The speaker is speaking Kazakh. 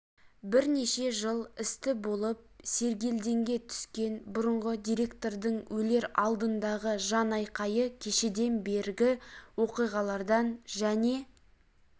бірнеше жыл істі болып сергелдеңге түскен бұрынғы директордың өлер алдындағы жан айқайы кешеден бергі оқиғалардан және